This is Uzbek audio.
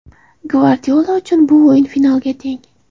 Gvardiola uchun bu o‘yin finalga teng.